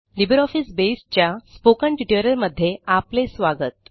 LibreOffice Base च्या spoken ट्युटोरियलमध्ये आपले स्वागत